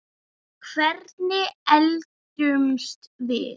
Hvernig eldumst við?